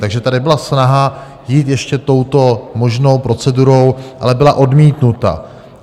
Takže tady byla snaha jít ještě touto možnou procedurou, ale byla odmítnuta.